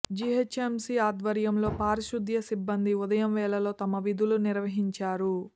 GHMC ఆధ్వర్యంలో పారిశుధ్య సిబ్బంది ఉదయం వేళలో తమ విధులు నిర్వహిం చారు